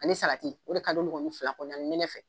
Ani o de ka don fila kɔnɔna ani nɛnɛ fɛ